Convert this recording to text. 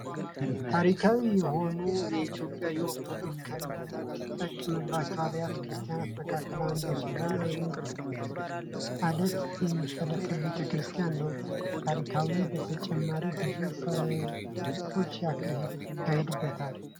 ታሪካዊ የሆኑይ የኢትዮጵያዊያ ኦርቶዶክሳዊ ከምትጠቀምባቸው አብያተ ክርስቲያናት መካከር አንዱ ሲሆን አንድ ወጥ አለት እሚፈለፈሉ ቤተ ክርስቲያን ነው ። ከታራካዊነቱ በተጨማሪም ብዙ ፈውሶች ይካሄዱበታል።